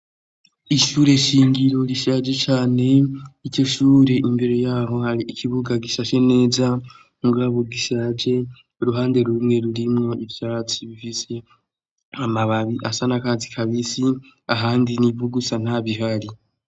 Ishure shingiro rishaje cane ityo shure imbere yaho hari ikibuga gishashe neza mugabu gishaje uruhande rumwe rurimwo ivyatsi bifise amababi asa na kazi kabisi ahandi n'ibugusa ntabi hari.